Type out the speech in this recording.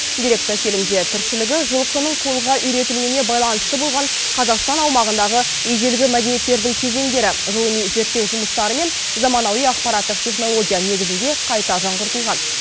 деректі фильмде тіршілігі жылқының қолға үйретілуіне байланысты болған қазақстан аумағындағы ежелгі мәдениеттердің кезеңдері ғылыми зерттеу жұмыстары мен заманауи ақпараттық технология негізінде қайта жаңғыртылған